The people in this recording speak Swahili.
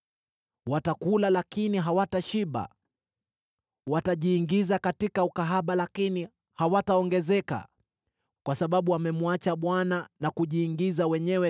“Watakula lakini hawatashiba; watajiingiza katika ukahaba lakini hawataongezeka, kwa sababu wamemwacha Bwana na kujiingiza wenyewe